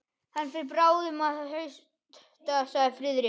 Hann fer bráðum að hausta sagði Friðrik.